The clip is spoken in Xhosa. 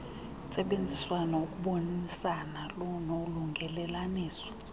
yentsebenziswano ukubonisana nolungelelaniso